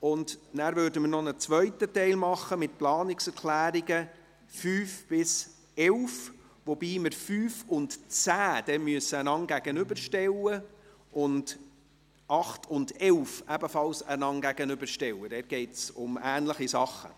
Anschliessend würden wir einen zweiten Teil mit den Planungserklärungen 5–11 machen, wobei wir die Planungserklärungen 5 und 10 einander gegenüberstellen müssen, ebenso wie die Planungserklärungen 8 und 11, weil es um ähnliche Dinge geht.